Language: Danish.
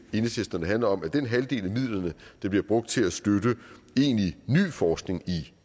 handler om den halvdel af midlerne der bliver brugt til at støtte egentlig ny forskning i